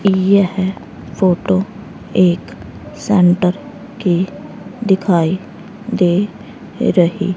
यह फोटो एक सेंटर के दिखाएं दे रही--